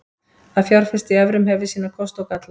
Að fjárfesta í evrum hefur sína kosti og galla.